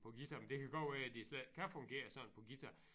På guitar men det kan godt være de slet ikke kan fungere sådan på guitar